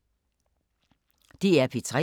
DR P3